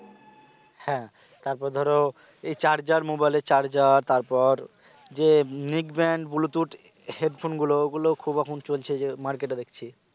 হ্যাঁ তারপর ধরো এই charger mobile এর charger তারপর যে neckband bluetooth headphone গুলো খুব এখন চলছে যে market এ দেখছি